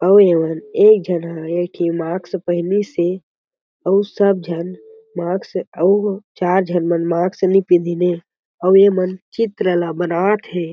एक झन ह एक ठी मास्क पहनीस हे अउ सब झन मास्क अउ चार झन मन मास्क नई पहिनन हे अउ ये मन चित्र ला बनात हे।